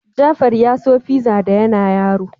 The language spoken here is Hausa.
Jafar ya so fiza da yana yaro.